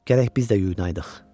Gərək biz də yuyunaydıq.